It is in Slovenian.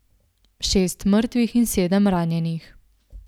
Šest mrtvih in sedem ranjenih.